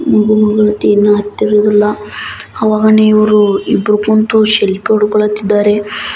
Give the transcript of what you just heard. ಇದು ಮೂರ್ತಿನ ಅವಾಗ ಇವ್ವರು ಇಬ್ಬೂರು ಕುಂತೋ ಸೆಲ್ಫಿ ಹೊಡ್ಕೊತಿದ್ದಾರೆ --